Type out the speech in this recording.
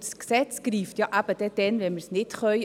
Dieses Gesetz greift ja eben dann, wenn wir es nicht können.